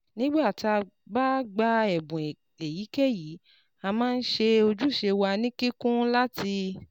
Nígbà tá a bá gba ẹ̀bùn èyíkéyìí, a máa ń ṣe ojúṣe wa ní kíkún láti